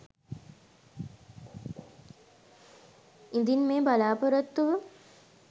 ඉදින් මේ බලාපොරොත්තුව